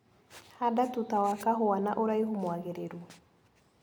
Handa tuta wa kahua na ũraihu mwagĩrĩru.